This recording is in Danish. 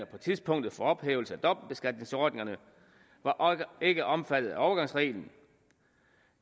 på tidspunktet for ophævelse af dobbeltbeskatningsordningerne var ikke omfattet af overgangsreglen